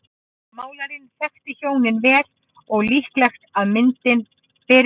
Málarinn þekkti hjónin vel og er líklegt að myndin beri þess merki.